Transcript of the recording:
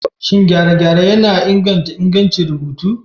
Shin gyare-gyare yana inganta ingancin rubutu?